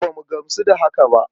A'a, ba mu gamsu ba da haka ba.